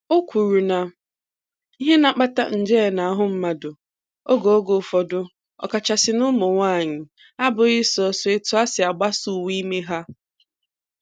O kwuru na ihe na-akpata nje n'ahụ mmadụ oge oge ụfọdụ, ọkachasị n'ụmụnwaanyị abụghị sọọsọ etu ha si agbasa uwe ime ha